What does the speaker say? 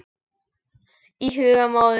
Í huga móður